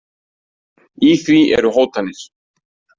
Í því eru hótanir.